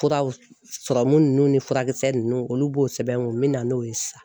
Furaw ninnu ni furakisɛ ninnu olu b'o sɛbɛn u bɛ na n'o ye sisan